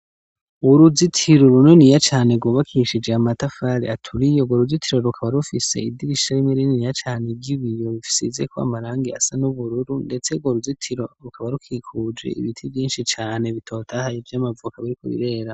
Uruzitiro runiniya cane rwubakishijwe amatafari aturiye urwo ruzitiro rukaba rufise idirisha rininiya cane ry`ibiyo risizeko amarangi asa n`ubururu ndetse urwo ruzitiro rukaba rukikuje ibiti vyishi cane bitotahaye vy`amavoka biriko birera.